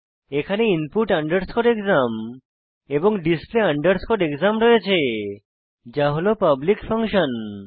এখানে input underscore exam এবং display underscore exam রয়েছে যা হল পাবলিক ফাংশন